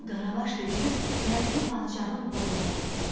Qul Qaravaş tökülüb dərzini padşahın qulluğuna gətirdilər.